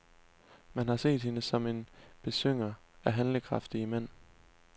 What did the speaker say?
Man har set hende som en besynger af handlekraftige mænd.